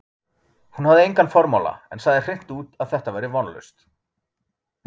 Hún hafði engan formála, en sagði hreint út, að þetta væri vonlaust.